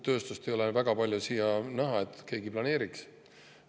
Ei ole väga näha, et keegi uut tööstust siia planeeriks.